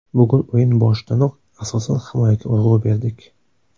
Bugun o‘yin boshidanoq asosan himoyaga urg‘u berdik.